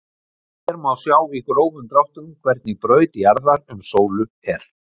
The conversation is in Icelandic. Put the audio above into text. hér má sjá í grófum dráttum hvernig braut jarðar um sólu er